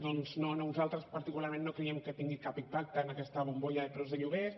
doncs no nosaltres particularment no creiem que tingui cap impacte en aquesta bombolla de preus de lloguers